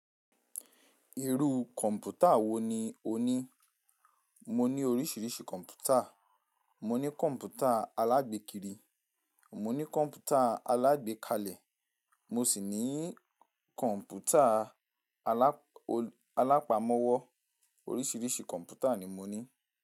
Irú kọ̀ǹpútà wo ni ò ní? Mo ní oríṣiríṣi kọ̀ǹpútà. Mo ní kọ̀ǹpútà alágbékiri, mo ní kọ̀ǹpútà alágbékalẹ̀, mo sì ní kọ̀ǹpútà alápamọ́wọ́. Oríṣiríṣi kọ̀ǹpútà ni mo ní.